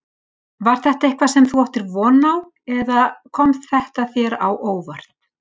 Var þetta eitthvað sem þú áttir von á eða kom þetta þér á óvart?